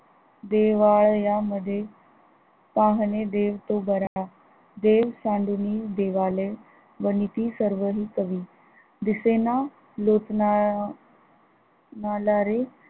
देव्यामध्ये पाहणे देव तो बरा देव सांडूनि देवालय वनीती सर्व हि कवी दिसेना लोकांना अं मलारी